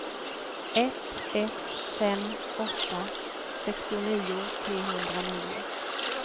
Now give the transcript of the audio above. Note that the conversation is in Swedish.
ett ett fem åtta sextionio trehundranio